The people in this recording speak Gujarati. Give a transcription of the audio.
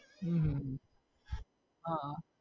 હમ હા